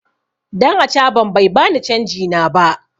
Dan acaban bai bani canji na ba.